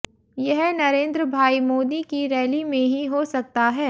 यह नरेंद्रभाई मोदी की रैली में ही हो सकता है